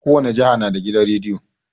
Kowane jiha na da gidan rediyo